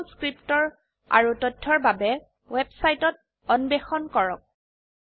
Jmol script ৰ আৰো তথ্যৰ বাবে ওয়েবসাইট অন্বেষণ কৰক